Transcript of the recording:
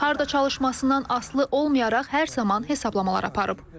Harda çalışmasından asılı olmayaraq hər zaman hesablamalar aparıb.